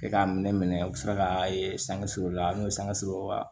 E k'a minɛ u bɛ sɔrɔ ka sanga suru la n'o ye sanga sɔrɔ wa